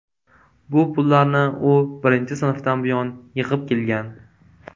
Bu pullarni u birinchi sinfdan buyon yig‘ib kelgan.